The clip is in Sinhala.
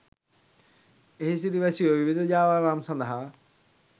එහි සිටි වැසියෝ විවිධ ජාවාරම් සඳහා